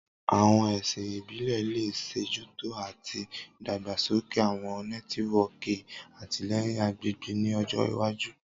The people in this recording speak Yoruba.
Awọn ẹsin ibile le ṣetọju ati idagbasoke awọn nẹtiwọọki atilẹyin agbegbe ni ọjọ iwaju.